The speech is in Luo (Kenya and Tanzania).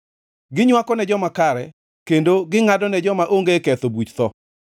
Ginywako ne joma kare kendo gingʼadone joma onge ketho buch tho.